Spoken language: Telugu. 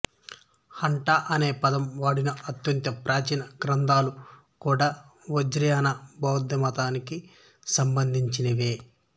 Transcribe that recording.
హఠ అనే పదం వాడిన అత్యంత ప్రాచీన గ్రంథాలు కూడా వజ్రయాన బౌద్ధమతానికి సంబంధించినవే